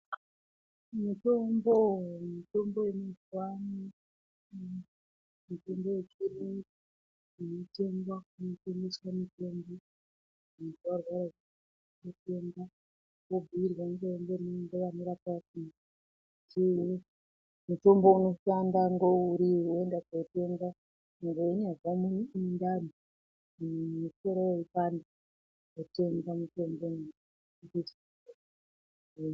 Mitombo, mitombo yemazuvano mutombo yechiyungu inotengwa kunotengeswa mutombo muntu warwara unoenda wobhuyirwa wototenga mutombo unoshanda ngeuri woenda kotenga kuti weinyazwa mundani, kuti musoro weipanda, wotenga mutombo iwoyo.